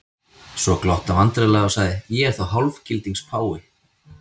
Svo glotti hann vandræðalega og sagði:-Ég er þá hálfgildings páfi?